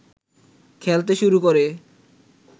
খেলতে শুরু করে